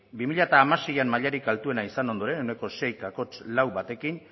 bi mila hamaseian mailarik altuena izan ondoren ehuneko sei koma lau batekin